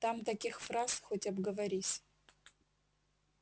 там таких фраз хоть обговорись